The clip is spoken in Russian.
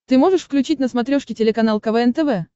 ты можешь включить на смотрешке телеканал квн тв